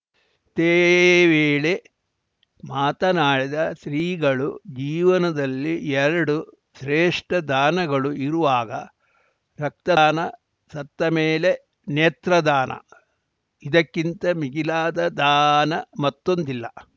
ಇದೇ ವೇಳೆ ಮಾತನಾಡಿದ ಶ್ರೀಗಳು ಜೀವನದಲ್ಲಿ ಎರಡು ಶ್ರೇಷ್ಠ ದಾನಗಳು ಇರುವಾಗ ರಕ್ತದಾನ ಸತ್ತ ಮೇಲೆ ನೇತ್ರ ದಾನ ಇದಕ್ಕಿಂತ ಮಿಗಿಲಾದ ದಾನ ಮತ್ತೊಂದಿಲ್ಲ